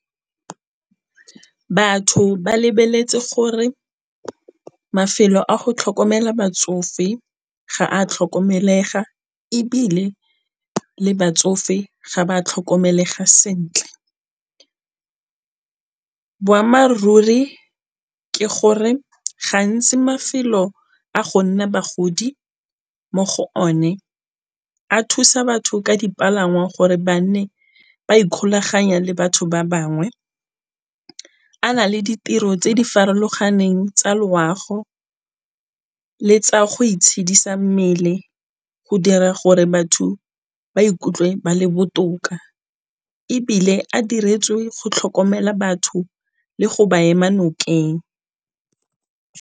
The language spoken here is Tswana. Batho ba lebeletse gore mafelo a go tlhokomela batsofe ga a tlhokomelega ebile le batsofe ga ba tlhokomelega. Buammaaruri ke gore gantsi mafelo a go nna bagodi mo go one, a thusa batho ka dipalangwa gore ba nne ba ikgolaganya le batho ba bangwe. A na le ditiro tse di farologaneng tsa loago le tsa go itshedisa mmele go dira gore batho ba ikutlwe ba le botoka, ebile a diretswe go tlhokomela batho le go ba ema nokeng.